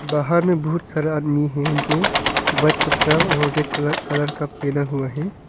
बाहर में बहुत सारे आदमी हैं जो व्हाइट कपड़ा और रेड कलर कलर का पहना हुआ है।